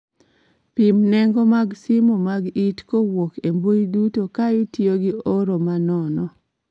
Pim nengo mag simu mag it kowuok e mbui duto ka itiyo gi oro ma nono